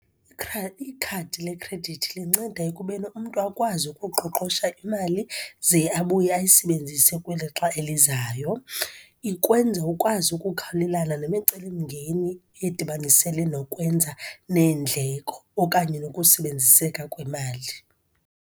Ikhadi lekhredithi linceda ekubeni umntu akwazi ukuqoqosha imali, ze abuye ayisebenzise kwixlixa elizayo. Ikwenza ukwazi ukukhawulelana nemicelimngeni edibanisele nokwenza neendleko okanye nokusebenziseka kwemali.